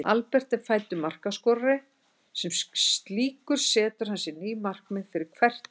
Albert er fæddur markaskorari og sem slíkur setur hann sér ný markmið fyrir hvert tímabil.